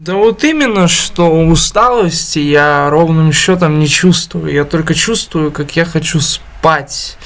да вот именно что усталости я ровным счётом не чувствую я только чувствую как я хочу спать